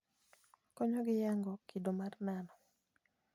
Konyogi nyago kido mar nano.